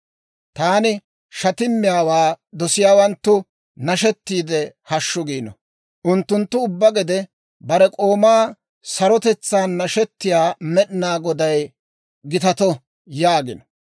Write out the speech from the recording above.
Taani shatimmiyaawaa dosiyaawanttu nashettiide, «Hashshu!» giino. Unttunttu ubbaa gede, «Bare k'oomaa sarotetsaan nashetiyaa Med'inaa Goday gitato» yaagino.